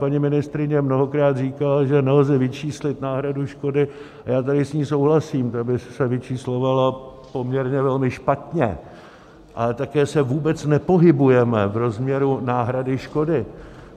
Paní ministryně mnohokrát říkala, že nelze vyčíslit náhradu škody, a já tady s ní souhlasím, to by se vyčíslovalo poměrně velmi špatně, ale také se vůbec nepohybujeme v rozměru náhrady škody.